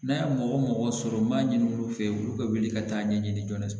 N'a ye mɔgɔ o mɔgɔ sɔrɔ n b'a ɲini olu fɛ olu ka wuli ka taa ɲɛɲini